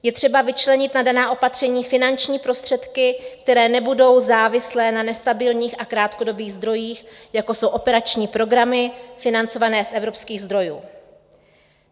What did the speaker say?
Je třeba vyčlenit na daná opatření finanční prostředky, které nebudou závislé na nestabilních a krátkodobých zdrojích, jako jsou operační programy financované z evropských zdrojů.